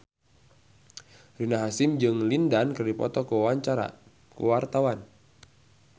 Rina Hasyim jeung Lin Dan keur dipoto ku wartawan